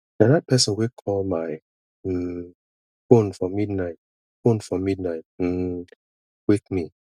na dat pesin wey call my um fone for midnight fone for midnight um wake me